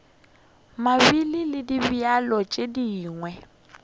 mabele le dibjalo tše dingwe